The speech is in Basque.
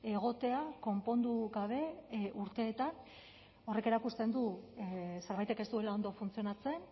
egotea konpondu gabe urteetan horrek erakusten du zerbaitek ez duela ondo funtzionatzen